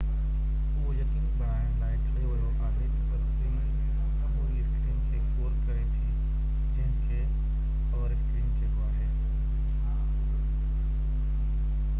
اهو يقيني بڻائڻ لاءِ ٺاهيو ويو آهي تہ تصوير سموري اسڪرين کي ڪور ڪري ٿي جنهن کي اور اسڪرين چئبو آهي